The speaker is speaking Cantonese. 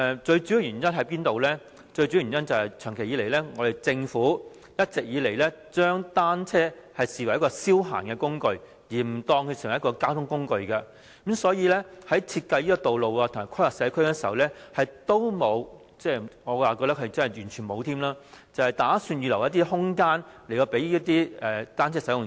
最主要的原因是，政府一直將單車視作一種消閒工具，而非交通工具，所以，在設計道路及規劃社區時，並無——我覺得是完全沒有——預留一些空間給單車使用者。